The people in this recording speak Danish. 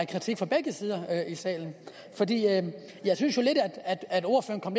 kritik fra begge sider af salen jeg synes jo lidt at ordføreren